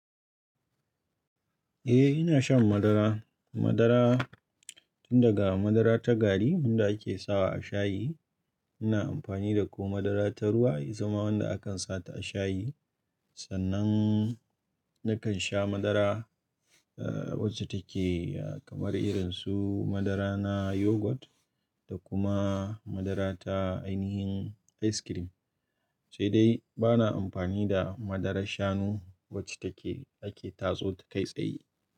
Eh ina shan madara. Madara tun daga madara ta gari wanda ake sawa a shayi ina amfani da ko madara ta ruwa ya zama wanda akan sata a shayi. Sannan nakan sha madara wacce take kamar irin su madara na yogurt da kuma madara ta ainihin ice cream. Sai dai bana amfani da madara shanu wacce take ake tatso ta kai tsaye.